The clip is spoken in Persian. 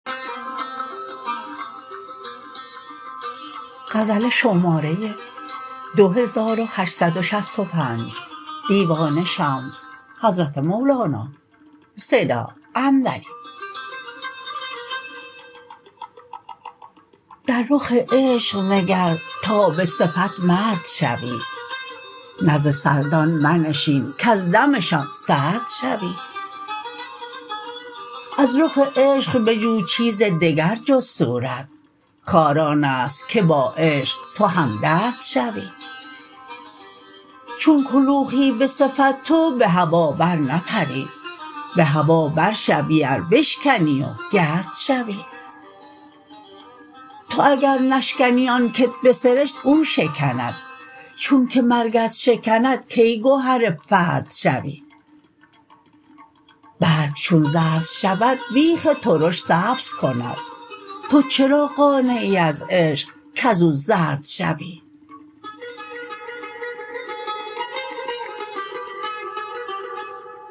در رخ عشق نگر تا به صفت مرد شوی نزد سردان منشین کز دمشان سرد شوی از رخ عشق بجو چیز دگر جز صورت کار آن است که با عشق تو هم درد شوی چون کلوخی به صفت تو به هوا برنپری به هوا برشوی ار بشکنی و گرد شوی تو اگر نشکنی آن کت به سرشت او شکند چونک مرگت شکند کی گهر فرد شوی برگ چون زرد شود بیخ ترش سبز کند تو چرا قانعی از عشق کز او زرد شوی